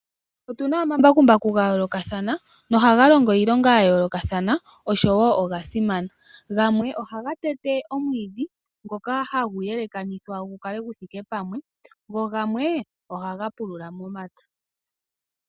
Otuna omambakumbaku gayoolokathana, nohaga longo iilonga yayoolokathana noya simana. Gamwe ohaga tete omwiidhi ngoka hagu yelekanithwa gukale guthike pamwe go gamwe ohaga pulula momapya.